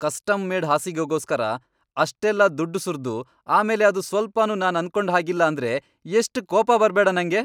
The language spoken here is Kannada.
ಕಸ್ಟಮ್, ಮೇಡ್, ಹಾಸಿಗೆಗೋಸ್ಕರ ಅಷ್ಟೆಲ್ಲ ದುಡ್ಡ್ ಸುರ್ದು ಆಮೇಲೆ ಅದು ಸ್ವಲ್ಪನೂ ನಾನ್ ಅನ್ಕೊಂಡ್ ಹಾಗಿಲ್ಲ ಅಂದ್ರೆ ಎಷ್ಟ್ ಕೋಪ ಬರ್ಬೇಡ ನಂಗೆ.